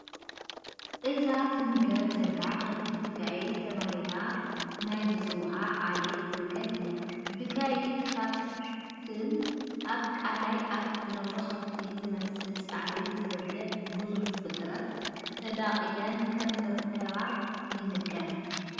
እዛ ትምገብ ዘላ ከፍቲ ቢጋይት ተባሂለን ናይ ዝፅውዓ ዓሌት ወገን እያ፡፡ ቢጋይት ካብ ከፍትን ኣብ ቀላይ ካብ ዝነብር ከፍቲ ዝመስል ሳዕሪ ዝበልዕ ግዙፍ ፍጥረት ተዳቒለን ከምዝተረኸባ ይንገር፡፡